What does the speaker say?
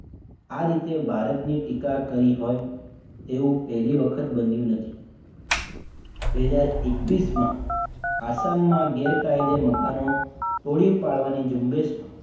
આ રીતે ભારતની ટીકા કરી હોય તેવું પહેલી વખત બન્યું નથી બે હજાર એકવીસમાં આસામમાં ગેરકાયદે મકાનો તોડી પાડવાની ઝુંબેશ માં